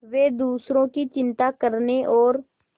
वे दूसरों की चिंता करने और